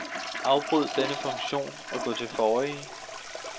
Afbryd denne funktion og gå til forrige.